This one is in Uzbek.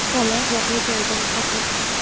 Bola voqea joyida vafot etdi.